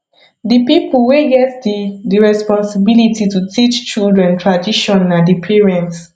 di pipo wey get di di responsibility to teach children tradition na di parents